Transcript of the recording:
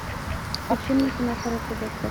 включи мне кино хороший доктор